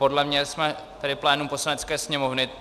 Podle mě jsme tady plénum Poslanecké sněmovny.